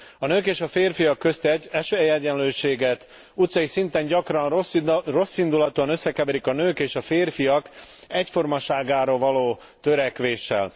A nők és a férfiak közti esélyegyenlőséget utcai szinten gyakran rosszindulatúan összekeverik a nők és a férfiak egyformaságára való törekvéssel.